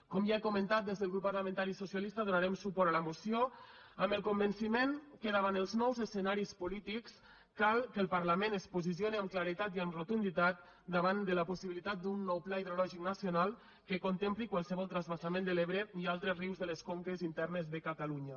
com ja he comentat des del grup parlamentari socialista donarem suport a la moció amb el convenciment que davant els nous escenaris polítics cal que el parlament es posicione amb claredat i amb rotunditat davant de la possibilitat d’un nou pla hidrològic nacional que contempli qualsevol transvasament de l’ebre i altres rius de les conques internes de catalunya